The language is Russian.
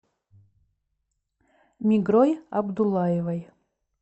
мигрой абдуллаевой